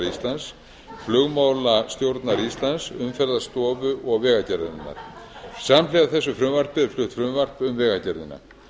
íslands flugmálastjórnar íslands umferðarstofu og vegagerðarinnar samhliða þessu frumvarpi er flutt frumvarp um vegagerðina